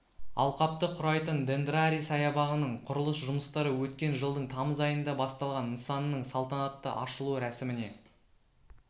алқапты құрайтын дендрарий саябағының құрылыс жұмыстары өткен жылдың тамыз айында басталған нысанның салтанатты ашылу рәсіміне